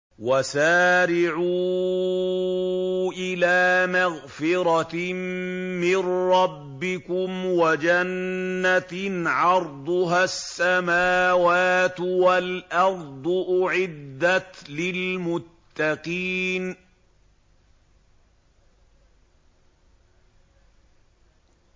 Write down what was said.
۞ وَسَارِعُوا إِلَىٰ مَغْفِرَةٍ مِّن رَّبِّكُمْ وَجَنَّةٍ عَرْضُهَا السَّمَاوَاتُ وَالْأَرْضُ أُعِدَّتْ لِلْمُتَّقِينَ